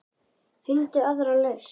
Finndu aðra lausn.